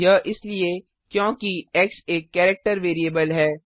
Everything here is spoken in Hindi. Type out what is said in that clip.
यह इसलिए क्योंकि एक्स एक कैरेक्टर वैरिएबल है